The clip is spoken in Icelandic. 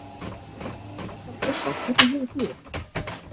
Arnar Björnsson hvernig hefur þú það?